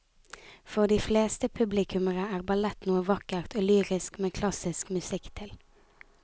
For de fleste publikummere er ballett noe vakkert og lyrisk med klassisk musikk til.